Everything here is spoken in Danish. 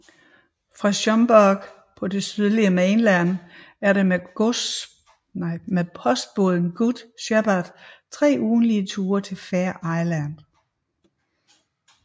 Fra Sumburgh på det sydlige Mainland er der med postbåden Good Shepherd 3 ugentlige ture til Fair Isle